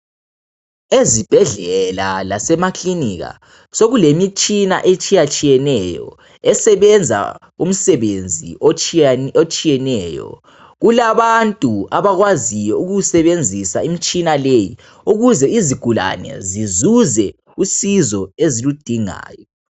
Ezibhedlela lasemaklinika sokulemitshina etshiyatshiyeneyo esebenza umsebenzi otshiyeneyo kulabantu abakwaziyo ukuwusebenzisa umitshina leyi ukuze izigulane zizuze usizo eziludingayo.